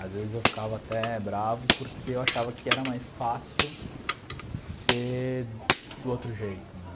Às vezes eu ficava até bravo porque eu achava que era mais fácil ser do outro jeito, né?